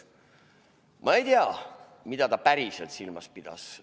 Ma ei tea, mida ta päriselt silmas pidas.